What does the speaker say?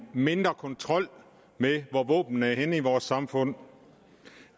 mindre kontrol med hvor våbnene er henne i vores samfund